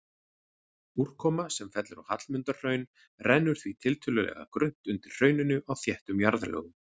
Úrkoma sem fellur á Hallmundarhraun rennur því tiltölulega grunnt undir hrauninu á þéttum jarðlögum.